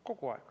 Kogu aeg.